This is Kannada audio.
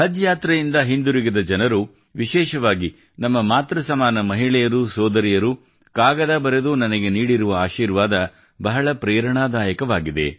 ಹಜ್ ಯಾತ್ರೆಯಿಂದ ಹಿಂದಿರುಗಿದ ಜನರು ವಿಶೇಷವಾಗಿ ನಮ್ಮ ಮಾತೃಸಮಾನ ಮಹಿಳೆಯರು ಸೋದರಿಯರು ಕಾಗದ ಬರೆದು ನನಗೆ ನೀಡಿರುವ ಆಶೀರ್ವಾದ ಬಹಳ ಪ್ರೇರಣಾದಾಯಕವಾಗಿದೆ